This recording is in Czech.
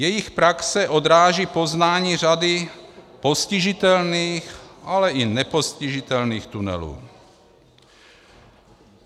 Jejich praxe odráží poznání řady postižitelných, ale i nepostižitelných tunelů.